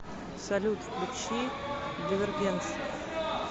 салют включи дивергенс